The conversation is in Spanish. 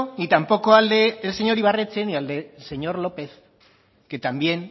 ni tampoco al del señor ibarretxe ni al del señor lópez que también